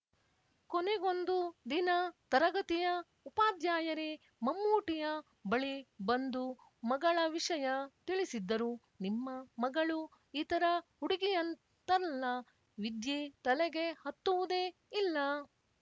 ಕೊನೆಗೊಂದು ದಿನ ತರಗತಿಯ ಉಪಾಧ್ಯಾಯರೇ ಮಮ್ಮೂಟಿಯ ಬಳಿ ಬಂದು ಮಗಳ ವಿಷಯ ತಿಳಿಸಿದ್ದರು ನಿಮ್ಮ ಮಗಳು ಇತರ ಹುಡುಗಿಯಂತಲ್ಲ ವಿದ್ಯೆ ತಲೆಗೆ ಹತ್ತುವುದೇ ಇಲ್ಲ